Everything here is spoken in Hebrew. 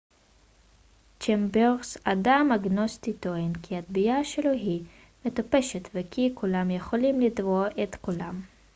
צ'מברס אדם אגנוסטי טוען כי התביעה שלו היא מטופשת וכי כולם יכולים לתבוע את כולם